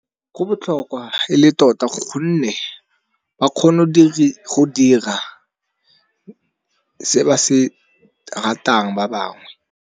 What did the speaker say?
Go botlhokwa e le tota gonne ba kgono go dira se ba se ratang ba bangwe.